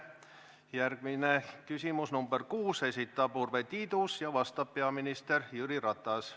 Järgmine küsimus, nr 6, esitab Urve Tiidus ja vastab peaminister Jüri Ratas.